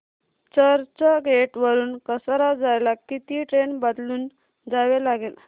चर्चगेट वरून कसारा जायला किती ट्रेन बदलून जावे लागेल